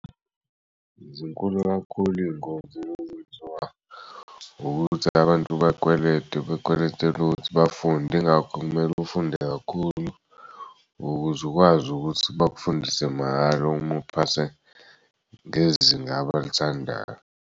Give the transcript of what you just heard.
Zinkulu kakhulu iy'ngozi ezenziwa ukuthi abantu bakwelete bekweletel'ukuthi bafunde ingakho kumele ufunde kakhulu ukuz'ukwazi ukuthi bakufundise mahhala uma uphase ngezinga abalithandayo.